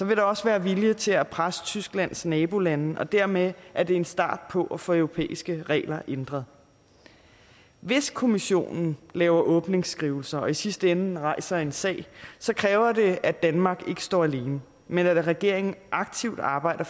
vil der også være vilje til at presse tysklands nabolande og dermed er det en start på at få de europæiske regler ændret hvis kommissionen laver åbningsskrivelser og i sidste ende rejser en sag kræver det at danmark ikke står alene men at regeringen aktivt arbejder